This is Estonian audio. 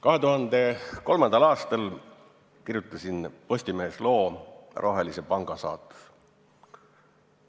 2003. aastal kirjutasin Postimehes loo "Rohelise panga saatus".